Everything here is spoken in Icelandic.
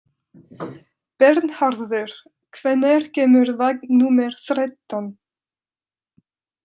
Bernharður, hvenær kemur vagn númer þrettán?